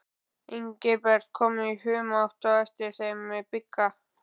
Engilbert kom í humátt á eftir þeim með Bigga.